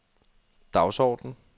dagsorden